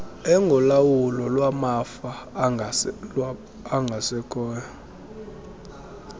engolawulo lwamafa abangasekhoyo